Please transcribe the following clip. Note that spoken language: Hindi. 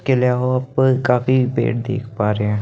वहाँ पर काफी पेड़ देख पा रहे हैं।